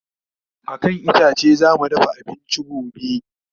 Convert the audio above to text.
a kan itace zamu dafa abinci gobe